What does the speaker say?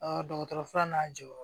dɔgɔtɔrɔ fura n'a jɔyɔrɔ